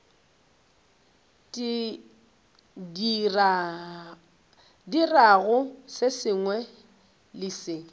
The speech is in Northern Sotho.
dirago se sengwe le se